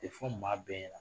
Tɛfɔ maa bɛɛ ɲɛna